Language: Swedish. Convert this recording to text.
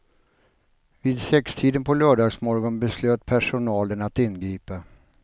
Vid sextiden på lördagsmorgonen beslöt personalen att ingripa.